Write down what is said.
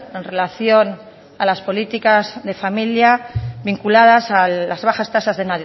en relación a las políticas de familia vinculadas a las bajas tasas de